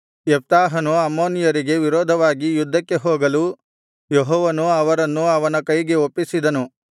ಯೆಪ್ತಾಹನು ಅಮ್ಮೋನಿಯರಿಗೆ ವಿರೋಧವಾಗಿ ಯುದ್ಧಕ್ಕೆ ಹೋಗಲು ಯೆಹೋವನು ಅವರನ್ನು ಅವನ ಕೈಗೆ ಒಪ್ಪಿಸಿದನು